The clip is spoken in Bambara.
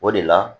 O de la